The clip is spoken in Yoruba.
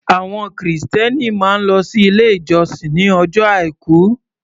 Àwọn Kìrìsìtẹ́ẹ́nì máa ń lọ sí ilé ìjọsìn ní ọjọ́ Àìkú.